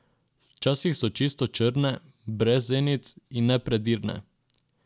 Včasih so čisto črne, brez zenic, in nepredirne.